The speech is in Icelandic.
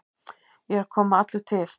Ég er að koma allur til.